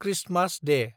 Christmas Day